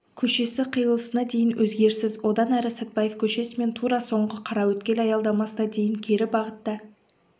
көшесі қиылысына дейін өзгеріссіз одан әрі сатпаев көшесімен тура соңғы қараөткел аялдамасына дейін кері бағытта